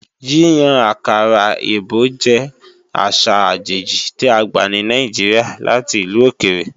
Yíyan àkàrà èbó jẹ́ àṣà àjèjì tí a gbà ní Nàìjíríà láti ìlú òkèrè